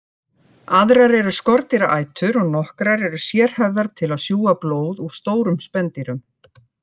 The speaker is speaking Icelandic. Aðrar eru skordýraætur og nokkrar eru sérhæfðar til að sjúga blóð úr stórum spendýrum.